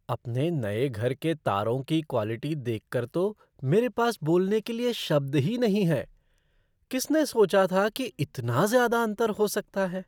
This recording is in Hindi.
अपने नए घर के तारों की क्वालिटी देख कर तो मेरे पास बोलने के लिए शब्द ही नहीं है। किसने सोचा था कि इतना ज़्यादा अंतर हो सकता है?